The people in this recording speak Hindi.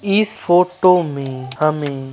इस फोटो मे हमे --